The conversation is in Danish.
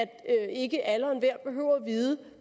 at ikke alle og at vide